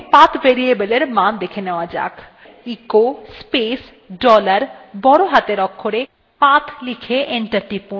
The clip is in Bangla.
echo space dollar বড় হাতের অক্ষরে path লিখুন এবং enter টিপুন